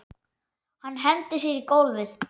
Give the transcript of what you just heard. Hendir sér á gólfið.